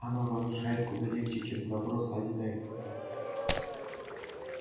оно разрушает куда легче чем добро созидает